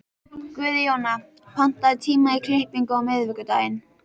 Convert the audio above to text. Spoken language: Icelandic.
Guðjóna, pantaðu tíma í klippingu á miðvikudaginn.